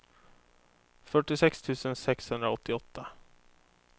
fyrtiosex tusen sexhundraåttioåtta